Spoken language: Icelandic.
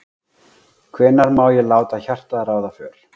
Hvenær má ég láta hjartað ráða för?